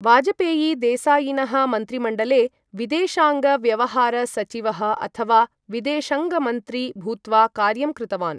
वाजपेयी देसायिनः मन्त्रिमण्डले विदेशाङ्ग व्यवहार सचिवः अथवा विदेशङ्ग मन्त्री भूत्वा कार्यं कृतवान्।